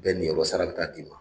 Bɛɛ niyɔrɔ sara bɛ taa d'i ma